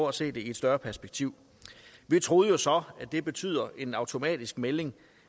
at se det i et større perspektiv vi troede jo så at det betød en automatisk melding